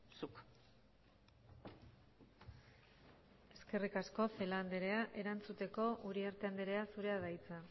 zuk eskerrik asko celaá andrea erantzuteko uriarte andrea zurea da hitza